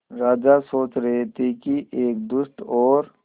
राजा सोच रहे थे कि एक दुष्ट और